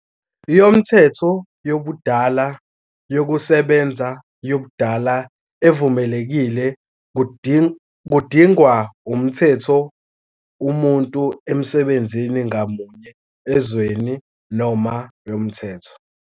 Yomthetho yobudala yokusebenza yobudala evumelekile kudingwa umthetho umuntu emsebenzini ngamunye ezweni noma yomthetho.